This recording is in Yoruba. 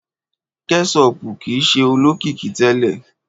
kẹṣopu kii ṣe olokiki tẹlẹ.